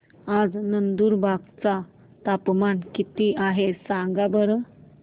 आज नंदुरबार चं तापमान किती आहे सांगा बरं